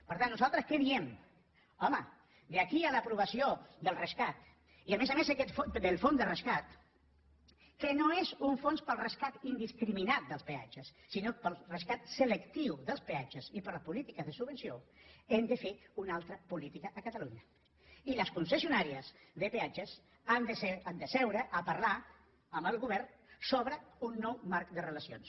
per tant nosaltres què diem home d’aquí a l’ aprovació del rescat i a més a més del fons de rescat que no és un fons per al rescat indiscriminat dels peatges sinó per al rescat selectiu dels peatges i per a les polítiques de subvenció hem de fer una altra política a catalunya i les concessionàries de peatges han de seure a parlar amb el govern sobre un nou marc de relacions